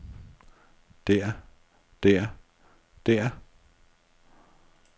der der der